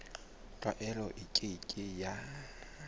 tlwaelo e ke ke ya